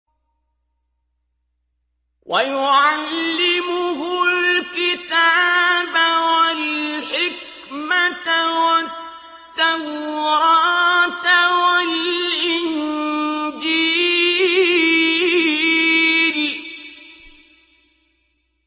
وَيُعَلِّمُهُ الْكِتَابَ وَالْحِكْمَةَ وَالتَّوْرَاةَ وَالْإِنجِيلَ